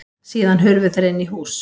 Síðan hurfu þeir inn í hús.